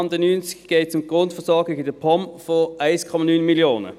Unter dem Traktandum 90 geht es um die Grundversorgung der POM von 1,9 Mio. Franken.